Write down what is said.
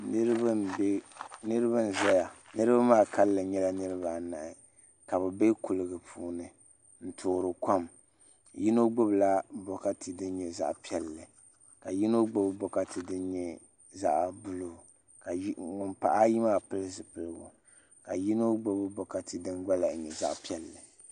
Niraba n ʒɛya niraba maa kanli nyɛla niraba anahi ka bi bɛ kuligi puuni n toori kom yino gbubila bokati din nyɛ zaɣ piɛlli ka yino gbuni bokati din nyɛ zaɣ buluu ka ŋun pahi ayi maa pili zipiligu ka yino gbubi bokati din gba lahi nyɛ zaɣ piɛlli